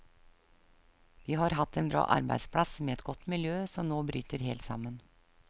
Vi har hatt en bra arbeidsplass med et godt miljø som nå bryter helt sammen.